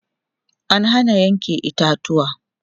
an Hana Yanke itatuwa